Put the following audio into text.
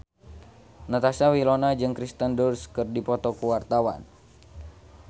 Natasha Wilona jeung Kirsten Dunst keur dipoto ku wartawan